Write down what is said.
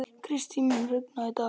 Kristý, mun rigna í dag?